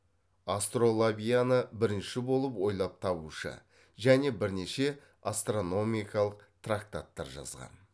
астролабияны бірінші болып ойлап табушы және бірнеше астрономикалық трактаттар жазған